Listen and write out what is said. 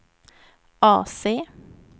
AC